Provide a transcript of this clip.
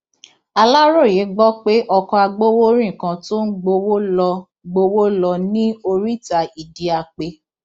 aláròye gbọ pé ọkọ agbowórin kan tó ń gbowó lọ gbowó lọ ní oríta idiape